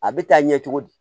A bɛ taa ɲɛ cogo di